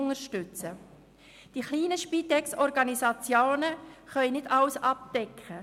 Die kleinen Spitex-Organisationen können nicht alles abdecken: